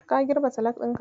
Ka girbe salak ɗinka?